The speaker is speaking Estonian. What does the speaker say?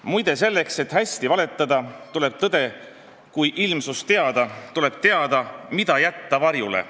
Muide selleks, et hästi valetada tuleb tõde kui ilmsust teada, tuleb teada, mida jätta varjule.